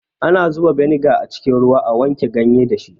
Ana zuba beniga a cikin ruwa a wanke ganye dashi